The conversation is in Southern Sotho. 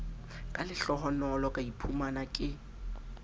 ka lehlohonolo ka iphumana ke